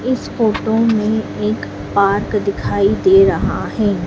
इस फोटो में एक पार्क दिखाई दे रहा है।